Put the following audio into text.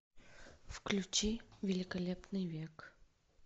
включи великолепный век